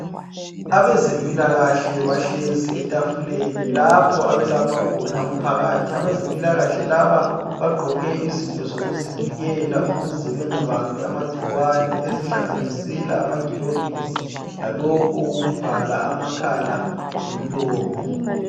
Abezempilakahle bahlezi atafuleni lapho okulapha khona umphakathi. Abezempilakahle laba bagqoke izinto zokuzivikela ukuze bengabambi amangcikwane ezihlanganiselwa amaglovisi lalokhu okokuvala amakhala lomlomo.